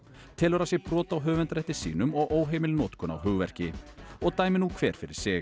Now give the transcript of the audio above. telur að sé brot á höfundarrétti sínum og óheimil notkun á hugverki og dæmi nú hver fyrir sig